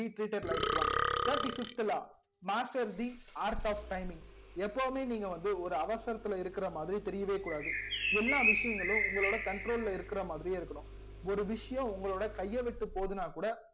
to be treated like one thirty fifth law master the orth of timing எப்போவுமே நீங்க வந்து ஒரு அவசரத்துல இருக்கா மாதிரி தெரியவே கூடாது எல்லா விஷயங்களும் உங்களோட control ல இருக்குற மாதிரியே இருக்கணும் ஒரு விஷயம் கைய விட்டு போதுனா கூட